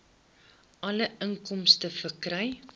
alle inkomste verkry